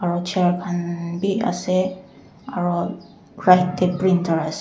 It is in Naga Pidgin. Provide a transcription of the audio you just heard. chair khannnnn bi asae aro right dae printer asae.